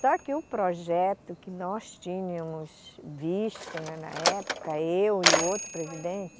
Só que o projeto que nós tínhamos visto né, na época, eu e outro presidente,